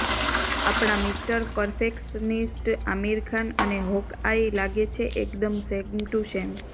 આપણા mister perfectionist Aamir Khan અને Hawkeye લાગે છે એકદમ સેમ ટુ સેમ